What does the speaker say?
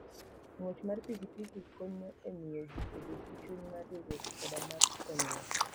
Ng'wech mar pikipiki konyo e miyo ji obed gi chuny mar riwruok koda mar konyruok.